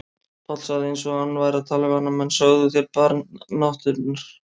Páll sagði eins og hann væri að tala við annan mann: Sögðuð þér Barn náttúrunnar?